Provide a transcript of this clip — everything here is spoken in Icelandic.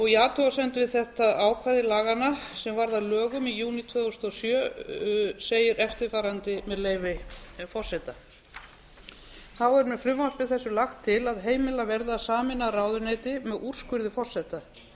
í athugasemdum við þetta ákvæði laganna sem varð að lögum í júní tvö þúsund og sjö segir eftirfarandi með leyfi forseta þá er með frumvarpi þessu lagt til að heimilað verði að sameina ráðuneyti með úrskurði forseta